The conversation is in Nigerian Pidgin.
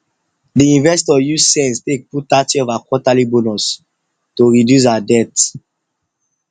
d investor use sense take put thirty of her quarterly bonus to reduce her debt